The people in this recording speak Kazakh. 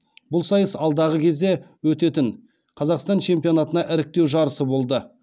бұл сайыс алдағы кезде өтетін қазақстан чемпионатына іріктеу жарысы болды